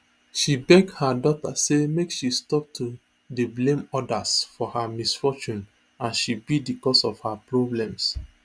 she beg her daughter say make she stop to dey blame odas for her misfortune as she be di cause of her problems